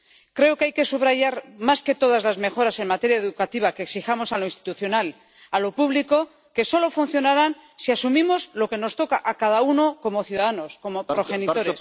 Creo que hay que subrayar más que todas las mejoras en materia educativa que exijamos a lo institucional, a lo público, solo funcionarán si asumimos lo que nos toca a cada uno como ciudadanos, como progenitores.